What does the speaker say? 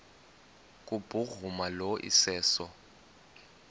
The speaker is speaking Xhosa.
kubhuruma lo iseso